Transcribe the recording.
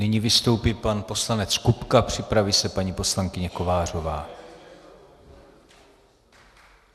Nyní vystoupí pan poslanec Kupka, připraví se paní poslankyně Kovářová.